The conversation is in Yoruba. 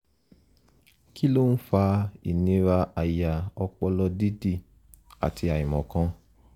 kí ló ń fa ìnira àyà ọpọlọ dídì àti àìmọ̀kan?